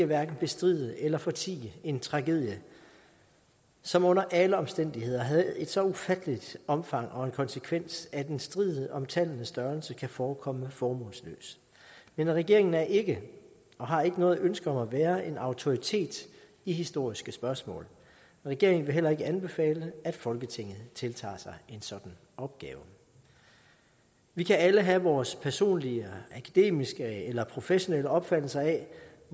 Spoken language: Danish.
hverken bestride eller fortie en tragedie som under alle omstændigheder havde et så ufatteligt omfang og en konsekvens at en strid om tallenes størrelse kan forekomme formålsløst men regeringen er ikke og har ikke noget ønske om at være en autoritet i historiske spørgsmål regeringen vil heller ikke anbefale at folketinget tiltager sig en sådan opgave vi kan alle have vores personlige akademiske eller professionelle opfattelse af